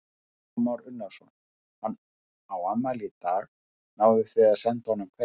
Kristján Már Unnarsson: Hann á afmæli í dag, náðuð þið að senda honum kveðju?